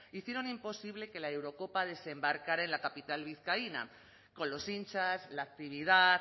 hicieron imposible que la eurocopa desembarcara en la capital vizcaína con los hinchas la actividad